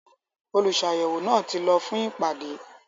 “ Olùsàyẹ̀wò” náà ti lọ fún ìpàdé.